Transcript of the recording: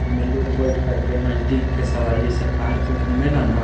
एमें लोग बइठ कर के नज़दीक के सवारी जैसे पार्क घुमेला ना --